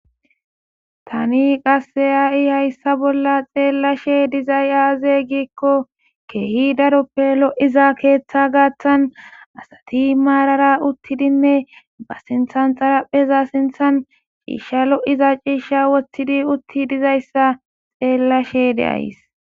tani qase ha'i hayssa bolla xeellashe dizay aaze giikko keehi daroppe lo'iza keeththa gaattan asati maarara uttidinne ba sinthan xarapheza sinthan ciishsha lo'iza ciisha woththidi utti dizayssa xeellashe de'ays